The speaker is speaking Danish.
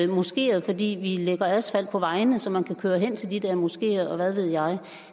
moskeer fordi vi lægger asfalt på vejene så man kan køre hen til de der moskeer og hvad ved jeg